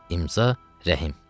İmza, Rəhim.